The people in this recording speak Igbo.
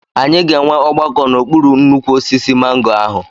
Anyị ga-enwe ọgbakọ n'okpuru nnukwu osisi mango ahụ.